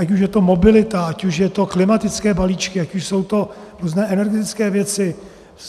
Ať už je to mobilita, ať už jsou to klimatické balíčky, ať už jsou to různé energetické věci.